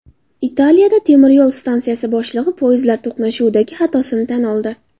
Italiyada temiryo‘l stansiyasi boshlig‘i poyezdlar to‘qnashuvidagi xatosini tan oldi.